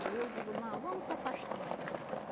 Aí eu digo, não, vamos se afastar mais um pouco.